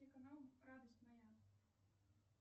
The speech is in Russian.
телеканал радость моя